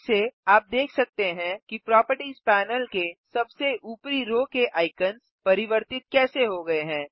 फिर से आप देख सकते हैं कि प्रोपर्टिज़ पैनल के सबसे ऊपरी रो के आइकन्स परिवर्तित कैसे हो गये हैं